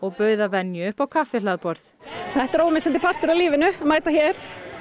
bauð að venju upp á kaffihlaðborð þetta er ómissandi partur af lífinu að mæta hér